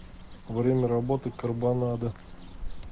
время работы карбонадо